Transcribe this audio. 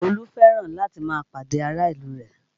Olú fẹ́ràn láti máa pàdé ará ìlú rẹ̀